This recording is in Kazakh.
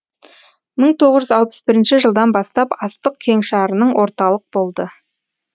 мың тоғыз жүз алпыс бірінші жылдан бастап астық кеңшарының орталық болды